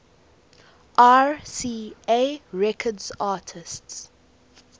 rca records artists